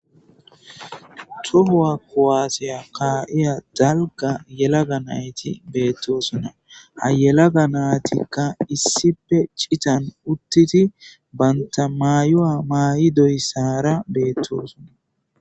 tohowa kowaasiya kaa7iya dalga yelaga nayti beettosona ha yelaga naatikka issife citan uttiti banta mayo7a maa7i doyssara beettoosona